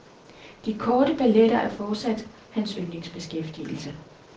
De korte balletter er fortsat hans yndlingsbeskæftigelse.